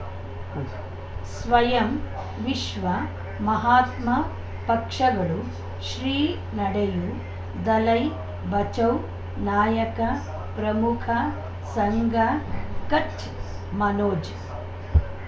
ಉಂ ಸ್ವಯಂ ವಿಶ್ವ ಮಹಾತ್ಮ ಪಕ್ಷಗಳು ಶ್ರೀ ನಡೆಯೂ ದಲೈ ಬಚೌ ನಾಯಕ ಪ್ರಮುಖ ಸಂಘ ಕಚ್ ಮನೋಜ್